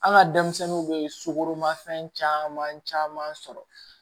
An ka denmisɛnninw bɛ sukoroma fɛn caman caman sɔrɔ